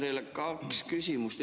Mul on teile kaks küsimust.